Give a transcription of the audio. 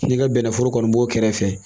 N'i ka bɛnɛforo kɔni b'o kɛrɛfɛ